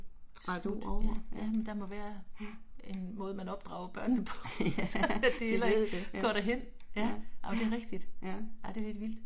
Smutte, ja ja, men der må være en måde man opdrager børnene på sådan at de ikke går derhen. Ja men det er rigtigt, det er lidt vildt